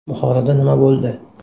Buxoroda nima bo‘ldi?.